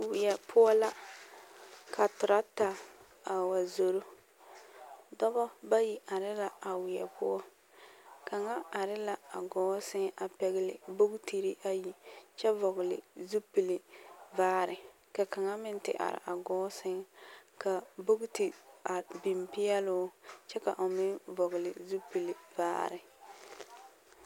Weɛ poɔ la ka toragta a wa zoro dɔbɔ bayi are la a weɛ poɔ kaŋa are la a gɔɔ seŋ a pɛgli bogtirii ayi kyɛ vɔgli zupilvaare ka kaŋa meŋ te are a gɔɔ seŋ ka bogti a beŋ peɛloo kyɛ ka o meŋ vɔgli zupilvaare.